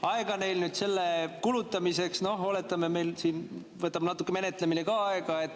Aega on neil selle kulutamiseks vähe – oletame, et meil siin võtab menetlemine ka natuke aega.